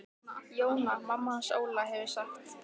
Jóna mamma hans Óla hefur sagt.